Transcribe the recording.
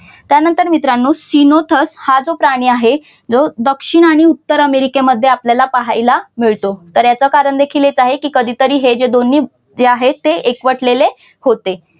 त्यानंतर मित्रांनो सिनोतक हा जो प्राणी आहे दक्षिण आणि उत्तर अमेरिकेमध्ये आपल्याला पाहायला मिळतो. तर याचं कारण देखील हेच आहे की कधीतरी हे दोन्ही जे आहे जे आहेत ते एकवटलेले होते.